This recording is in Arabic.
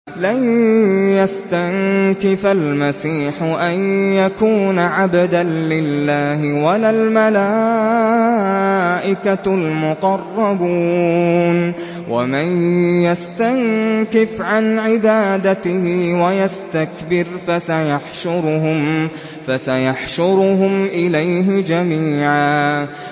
لَّن يَسْتَنكِفَ الْمَسِيحُ أَن يَكُونَ عَبْدًا لِّلَّهِ وَلَا الْمَلَائِكَةُ الْمُقَرَّبُونَ ۚ وَمَن يَسْتَنكِفْ عَنْ عِبَادَتِهِ وَيَسْتَكْبِرْ فَسَيَحْشُرُهُمْ إِلَيْهِ جَمِيعًا